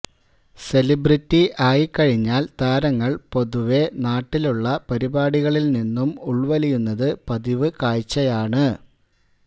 celebrity ആയിക്കഴിഞ്ഞാല് താരങ്ങള് പൊതുവെ നാട്ടിലുള്ള പരിപാടികളില് നിന്നും ഉല് വലിയുന്നത് പതിവ് കാഴ്ചയാണ്